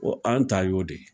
an ta y'o de